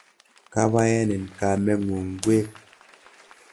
Kabaenin kameng'ung' ngwek?